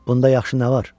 Bunda yaxşı nə var?